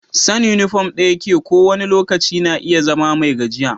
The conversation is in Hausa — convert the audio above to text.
San' uniform ɗaya ko wani lokaci na iya zama mai gajiya.